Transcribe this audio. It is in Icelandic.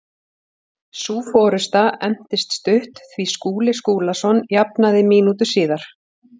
Sú forusta entist stutt því Skúli Skúlason jafnaði mínútu síðar.